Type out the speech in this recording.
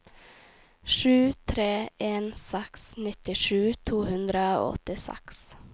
sju tre en seks nittisju to hundre og åttiseks